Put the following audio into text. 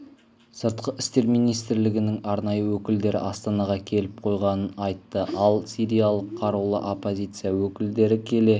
сыртқы істер министрлігінің арнайы өкілдері астанаға келіп қойғанын айтты ал сириялық қарулы оппозиция өкілдері келе